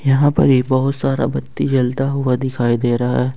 यहां पर ही बहुत सारा बत्ती जलता हुआ दिखाई दे रहा है।